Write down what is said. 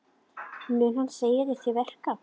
Mun hann segja þér til verka.